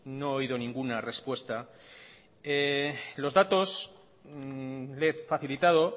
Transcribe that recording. no he oído ninguna respuesta los datos le he facilitado